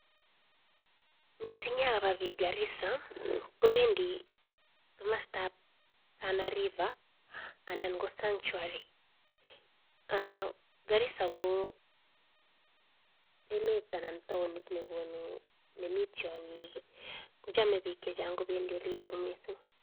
Mising ab bik ab garisa kobendi kamasta ab tana river anan ko sachuari garisa ko emet anan taonit nekonu nemi tiangik kochame bik chechan kobendi yuton mising